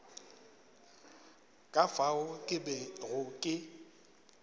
ka fao ke bego ke